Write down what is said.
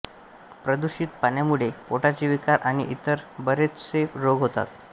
प्रदुषित पाण्यामुळे पोटाचे विकार आणि इतर बरेचसे रोग होतात